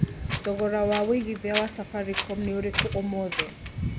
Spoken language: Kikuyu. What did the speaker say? thogora wa wĩĩgĩthĩa wa safaricom nĩ ũrĩkũ ũmũthi